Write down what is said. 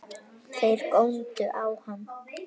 Þeir góndu á hann.